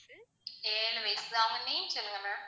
ஏழு வயசு அவங்க name சொல்லுங்க ma'am